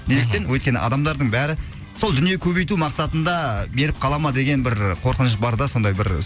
мхм неліктен өйткені адамдардың бәрі сол дүние көбейту мақсатында беріп қала ма деген бір қорқыныш бар да сондай бір